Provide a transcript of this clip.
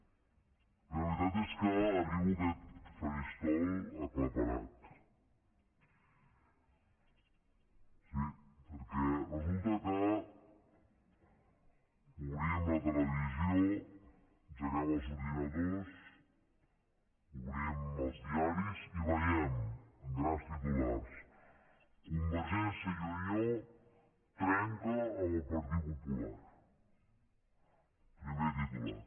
bé la veritat és que arribo a aquest faristol aclaparat sí perquè resulta que obrim la televisió engeguem els ordinadors obrim els diaris i veiem en grans titulars convergència i unió trenca amb el partit popular primer titular